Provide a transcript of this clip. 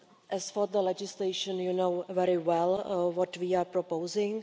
As for the legislation, you know very well what we are proposing.